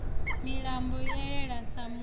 milambo i elele sa mulovha